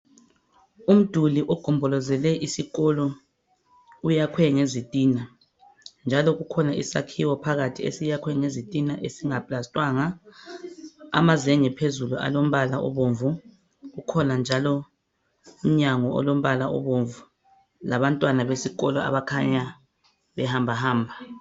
Umduli ogombolozele isikolo uyakhiwe ngezitina, njalo kukhona isakhiwo phakathi sakhiwe ngezitina ezingaplastiwanga amazenge phezulu alombala obomvu kukhona njalo umnyango olombala obomvu labantwana besikolo abakhanya behambahamba.